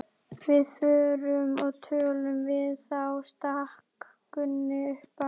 Við förum og tölum við þá, stakk Gunni upp á.